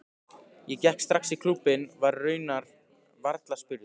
Ég gekk strax í klúbbinn, var raunar varla spurður.